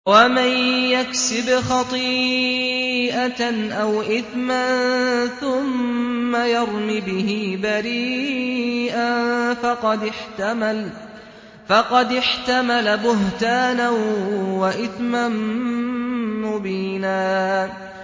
وَمَن يَكْسِبْ خَطِيئَةً أَوْ إِثْمًا ثُمَّ يَرْمِ بِهِ بَرِيئًا فَقَدِ احْتَمَلَ بُهْتَانًا وَإِثْمًا مُّبِينًا